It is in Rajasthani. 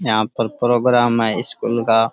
यहाँ पर प्रोग्राम है स्कूल का।